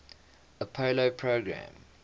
apollo program